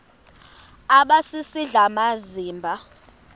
aba sisidl amazimba